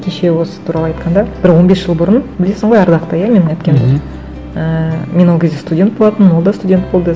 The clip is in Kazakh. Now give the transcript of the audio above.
кеше осы туралы айтқанда бір он бес жыл бұрын білесің ғой ардақты иә менің әпкемді мхм ііі мен ол кезде студент болатынмын ол да студент болды